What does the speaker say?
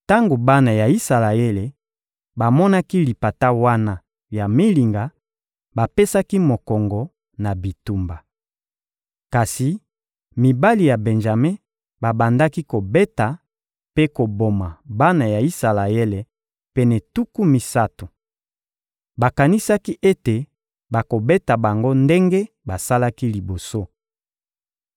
Tango bana ya Isalaele bamonaki lipata wana ya milinga, bapesaki mokongo na bitumba. Kasi mibali ya Benjame babandaki kobeta mpe koboma bana ya Isalaele pene tuku misato. Bakanisaki ete bakobeta bango ndenge basalaki liboso.